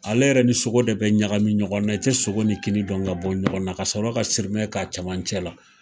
Ale yɛrɛ ni sogo de bɛ ɲagami ɲɔgɔnna, i tɛ sogo ni kini dɔn ka bɔ ɲɔgɔnna, ka sɔrɔ ka sirimɛ k'a cɛmancɛ la.